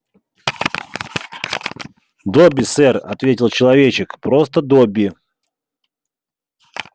добби сэр ответил человечек просто добби